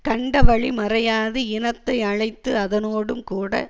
கண்டவழி மறையாது இனத்தை அழைத்து அதனோடும் கூட